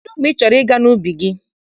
Kedụ mgbe ị chọrọ ịga n'ubi gị?